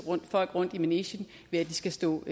folk rundt i manegen ved at de skal stå